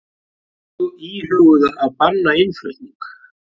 Íhuguðu að banna innflutning